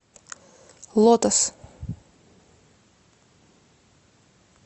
лотос